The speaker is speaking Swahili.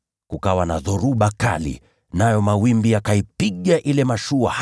Kukawa na dhoruba kali, nayo mawimbi yakaipiga ile mashua hata ikawa karibu kujaa maji.